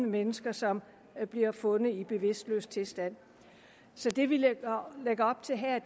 mennesker som bliver fundet i bevidstløs tilstand så det vi lægger op til her